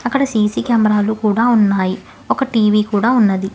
అక్కడ సి_సి కెమెరాలు కూడా ఉన్నాయి ఒక టీ_వీ కూడా ఉన్నది.